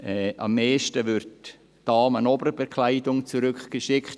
Am meisten wird Damen-Oberbekleidung zurückgeschickt.